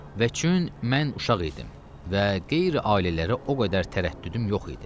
Və çün mən uşaq idim və qeyri ailələrə o qədər tərəddüdüm yox idi.